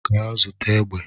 Gaa zụta egbe